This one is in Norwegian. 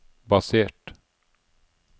basert